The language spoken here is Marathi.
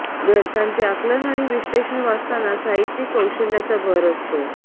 ग्रंथांचे आकलन आणि विश्लेषण वाचताना साहित्यिक कौशल्याचा भर असतो